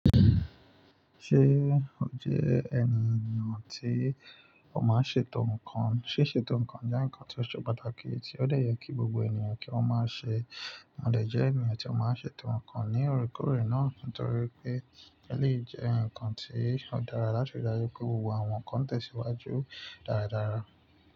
Ṣé ó jẹ́ ènìyàn tí ó máa ń ṣe tò nkan? Ṣé ṣe tòun kan jẹ́ nǹkan tí ó ṣe pàtàkì tí ó de yẹ kí gbogbo ènìyàn kí wọ́n máa ṣe? Wọn le jẹ́ ènìyàn tí ó máa ń ṣe tòun kan ní òrékórè náà nítorí pé ó lè jẹ́ nǹkan tí ó dára láti rí dájú pé gbogbo àwọn nǹkan tẹ̀síwájú dáradára.